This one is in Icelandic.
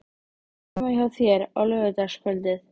Varstu heima hjá þér á laugardagskvöldið?